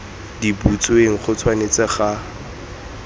di butsweng go tshwanetse ga